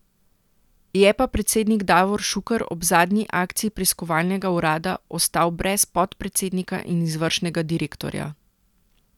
Je pa predsednik Davor Šuker ob zadnji akciji preiskovalnega urada ostal brez podpredsednika in izvršnega direktorja.